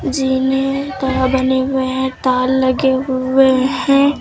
जीने प बने हुए हैं तार लगे हुए हैं।